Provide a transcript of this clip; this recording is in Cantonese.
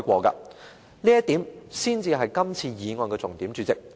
主席，這點才是今次議案的重點。